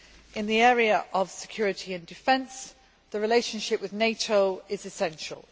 In the area of security and defence, the relationship with NATO is essential.